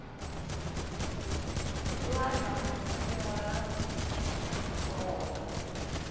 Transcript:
thotwana ho ngala ho thoba